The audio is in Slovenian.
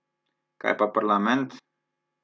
Kaj pa parlament?